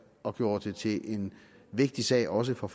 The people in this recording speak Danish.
og gjorde det til en vigtig sag også for